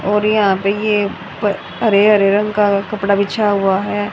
और यहां पे ये हरे हरे रंग का कपड़ा बिछा हुआ है।